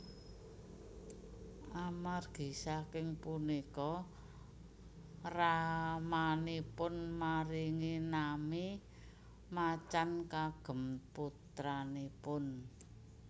Amargi saking punika ramanipun maringi nami Macan kagem putranipun